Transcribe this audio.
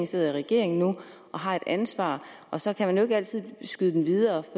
sidder i regering nu og har et ansvar og så kan man ikke altid skyde den videre